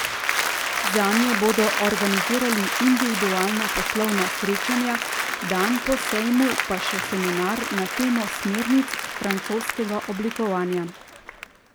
Zanje bodo organizirali individualna poslovna srečanja, dan po sejmu pa še seminar na temo smernic francoskega oblikovanja.